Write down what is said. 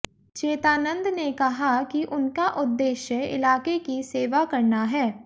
चेतानंद ने कहा कि उनका उद्देश्य इलाके की सेवा करना है